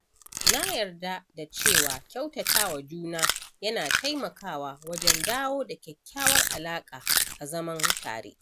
Na yarda da cewa kyautatawa juna yana taimakawa wajen dawo da kyakkyawar alaƙa a zaman tare